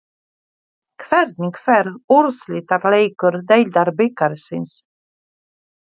Hvernig fer úrslitaleikur Deildabikarsins?